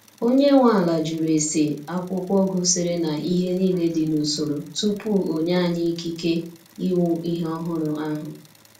Onye nwe ala jụrụ ese akwụkwọ gosiri na ihe niile dị n’usoro tupu onye anyi ikike ịwụ ihe ọhụrụ ahụ.